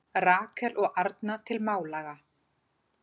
Rakel og Arna til Málaga